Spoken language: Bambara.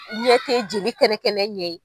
Ɲɛ tɛ jeli kɛnɛkɛnɛ ɲɛ ye.